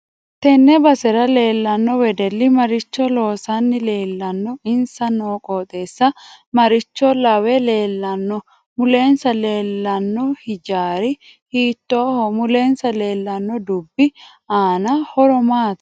Tenne basera leelanno wedelli maricho loosanni leelanno insa noo qoxeesi maricho lawe leelanno mulensa leelanno hijaari hiitooho mulensa leelanno dubbi aano horo maati